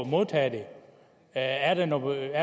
modtage det er er der noget